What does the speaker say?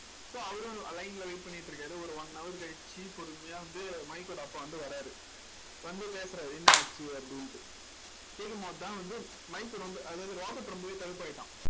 so அவரும் line ல wait பண்ணிட்டு இருக்காரு ஒரு one hour கழிச்சு பொறுமையா வந்து மைக்கோட அப்பா வந்து வராரு வந்து பேசுறாரு என்ன ஆச்சு அப்படின்ட்டு கேக்கும் போதுதான் வந்து மைக் ரொம்ப அதாவது ராபர்ட் ரொம்பவே கடுப்பாயிட்டான்